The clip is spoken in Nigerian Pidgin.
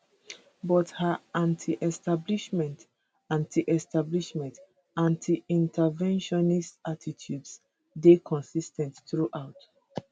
but her antiestablishment antiestablishment antiinterventionist attitudes dey consis ten t throughout